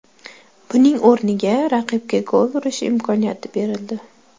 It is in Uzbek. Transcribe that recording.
Buning o‘rniga raqibga gol urish imkoniyati berildi.